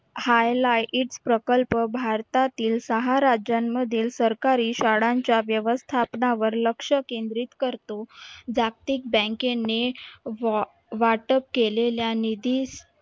highlight प्रकल्प भारतातील सहा राज्यांमधील सरकारी शाळांच्या व्यवस्थापनावर लक्ष केंद्रित करतो. जागतिक बँकेने वा वाटप केलेल्या निधी